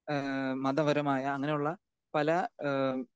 speaker 2 ഏഹ് മതപരമായ അങ്ങനെയുള്ള പല ഏഹ്